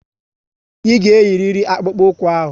Ị ga eyiriri akpụkpu ụkwụ ahụ!